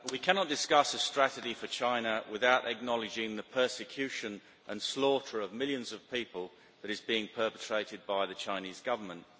Madam President, we cannot discuss a strategy for China without acknowledging the persecution and slaughter of millions of people that is being perpetrated by the Chinese Government.